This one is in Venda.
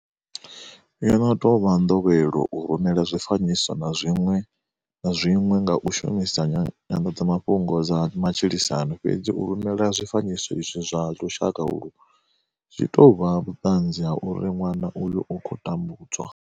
Yo no tou vha nḓowelo u rumelana zwi fanyiso na zwiṅwe nga u shumisa nyanḓadzamafhungo dza matshilisano. Fhedzi u rumelana zwi fanyiso izwi zwa lushaka ulwu, zwi tou vha vhuṱanzi ha uri ṅwana uyo u khou tambudzwa.